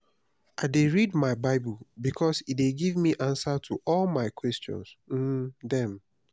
i dey read my bible because e dey give answer to all my question um dem.